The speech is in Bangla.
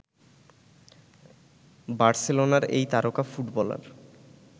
বার্সেলোনার এই তারকা ফুটবলার